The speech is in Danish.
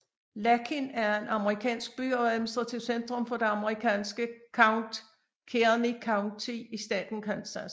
Lakin er en amerikansk by og administrativt centrum for det amerikanske county Kearny County i staten Kansas